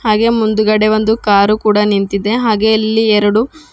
ಹಾಗೆ ಮುಂದುಗಡೆ ಒಂದು ಕಾರು ಕೂಡ ನಿಂತಿದೆ ಹಾಗೆ ಇಲ್ಲಿ ಎರಡು --